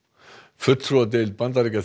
fulltrúadeild Bandaríkjaþings